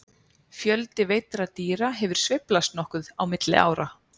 Fjöldi veiddra dýra hefur sveiflast nokkuð á milli ára.